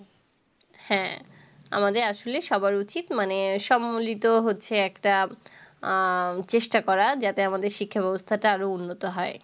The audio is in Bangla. হ্যাঁ, আমাদের আসলে সবার উচিত মানে সম্মিলিত হচ্ছে একটা আহ চেষ্টা করা যাতে আমাদের শিক্ষা ব্যবস্থাটা আরও উন্নত হয়।